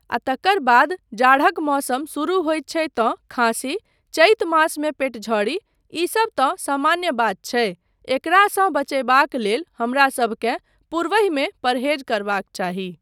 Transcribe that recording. आ तकर बाद जाड़क मौसम शुरू होइत छै तँ खाँसी, चैत मासमे पेटझड़ी, ईसब तँ सामान्य बात छै एकरासँ बचयबाक लेल हमरासभकेँ पूर्वहिमे परहेज करबाक चाही।